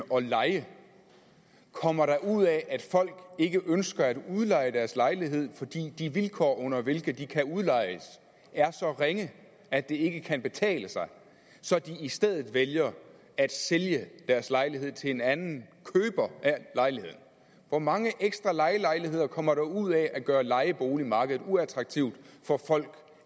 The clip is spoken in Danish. og leje kommer der ud af at folk ikke ønsker at udleje deres lejlighed fordi de vilkår under hvilke de kan udlejes er så ringe at det ikke kan betale sig så de i stedet vælger at sælge deres lejlighed til en anden køber af lejligheden hvor mange ekstra lejelejligheder kommer der ud af at gøre lejeboligmarkedet uattraktivt for folk